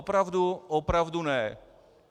Opravdu, opravdu ne.